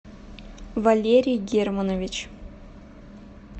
валерий германович